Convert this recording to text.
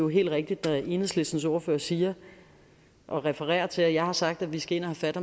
helt rigtigt når enhedslistens ordfører siger og refererer til at jeg har sagt at vi skal ind og have fat